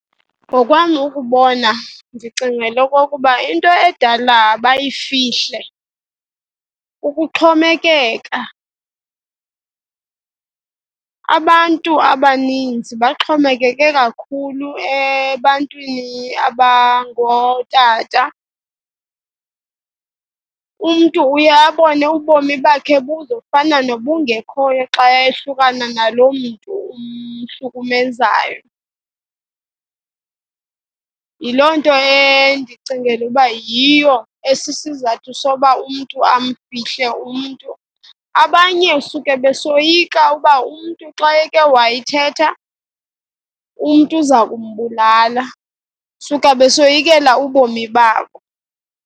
Ngokwam ukubona, ndicingela okokuba into edala bayifihle kukuxhomekeka. Abantu abaninzi baxhomekeke kakhulu ebantwini abangootata. Umntu uye abone ubomi bakhe buzofana nobungekhoyo xa ehlukana naloo mntu umhlukumezayo. Yiloo nto endicingela ukuba yiyo esisizathu sokuba umntu amfihle umntu. Abanye suke besoyika uba umntu xa eke wayithetha, umntu uza kumbulala, suke besoyikela ubomi babo.